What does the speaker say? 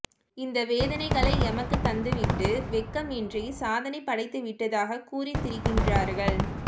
இந்த வேதனைகளை எமக்குத் தந்துவிட்டு வெட்கம் இன்றி சாதனை படைத்துவிட்டதாகக் கூறித்திரிகின்றார்கள்